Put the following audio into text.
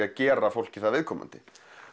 að gera fólki það viðkomandi